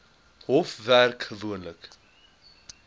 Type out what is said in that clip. hof werk gewoonlik